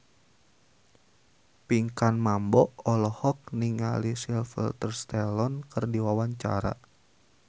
Pinkan Mambo olohok ningali Sylvester Stallone keur diwawancara